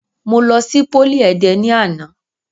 Mo lọ sí pólì Ẹdẹ ni àná.